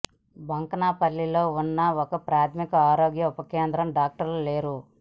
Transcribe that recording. బొంకన్పల్లిలో ఉన్న ఒక ప్రాథమిక ఆరోగ్య ఉప కేంద్రంలో డాక్టర్లు లేరు